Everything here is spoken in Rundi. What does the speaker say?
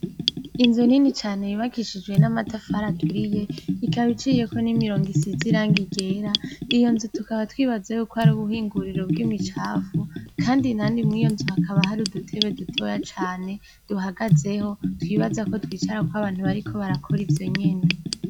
Inzu nini cane yubakishijwe n' amatafari aturiye ikaba iciyeko n' imirongo isize irangi ryera iyo nzu tukaba twibaza yuko ari ubuhinguriro bw' imicafu kandi nani mw' iyo nzu hakaba hari udutebe dutoya cane duhagazeho twibaza ko twicarako abantu bariko barakora ivyo nyene.